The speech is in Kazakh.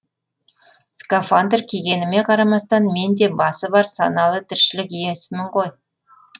скафандр кигеніме қарамастан мен де басы бар саналы тіршілік иесімін ғой